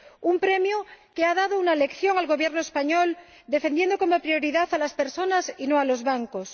Un premio que ha dado una lección al Gobierno español al defender como prioridad a las personas y no a los bancos.